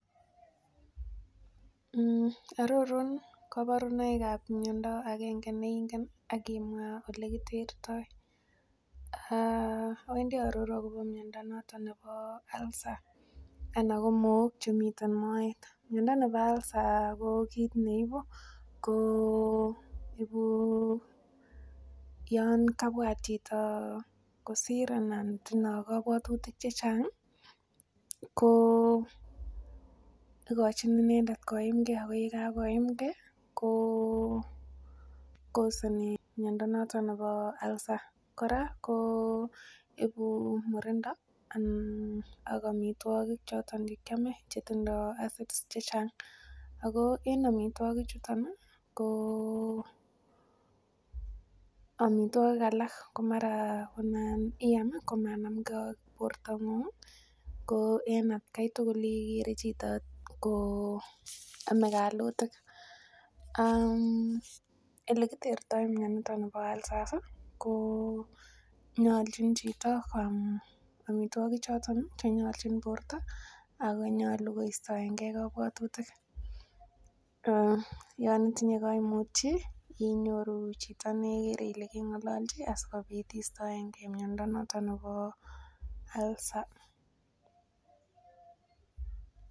Ororun koborunoikab miondo agenge neingen ak imwa olekitertoi? Awendii aaror akobo miondo noton nebo ulcer ana ko mook chemiten moet. Miondo nebo ulcer ko kit neibu ko ibu yon kabwat chito kosir anan tindoo kobwotutik chechang ih ko ikochin inendet koimgee ak yakakoimgee ko koseni miondo noton nebo ulcer kora ko ibu murindo ak amitwogik choton chekiome chetindoo acids chechang ako en amitwogik chuton ih ko amitwogik alak ko mara nan iam komanamgee ak bortong'ung ih ko en atkai tugul ikere chito ko ome kalutik um elekitoretitoo mioniton nibo ulcers ih ko nyolchin chito koam amitwogik choton chenyolchin borto ak nyolu kostoengee kobwotutik yon itinye koimut ih inyoru chito nekere ile keng'ololji asikobit istoengee miondo noton nebo ulcer